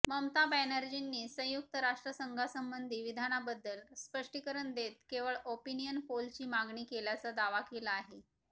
ममता बॅनर्जींनी संयुक्त राष्ट्रसंघसंबंधी विधानाबद्दल स्पष्टीकरण देत केवळ ओपिनियन पोलची मागणी केल्याचा दावा केला आहे